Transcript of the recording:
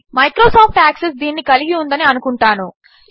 Microsoft Access దీనిని కలిగి ఉందని అనుకుంటాను